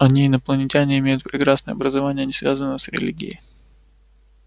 они инопланетяне имеют прекрасное образование не связанное с религией